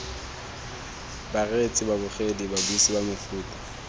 bareetsi babogedi babuisi ba mefuta